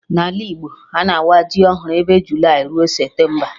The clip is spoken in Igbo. Na Ala Igbo, a na-awa ji ọhụrụ ebe Julayị rue Septemba